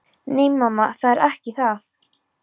Nei, mamma, það er ekki það.